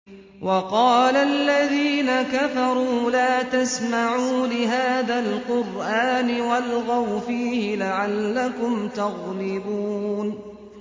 وَقَالَ الَّذِينَ كَفَرُوا لَا تَسْمَعُوا لِهَٰذَا الْقُرْآنِ وَالْغَوْا فِيهِ لَعَلَّكُمْ تَغْلِبُونَ